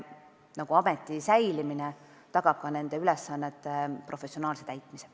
Ameti säilimine tagab nende ülesannete professionaalse täitmise.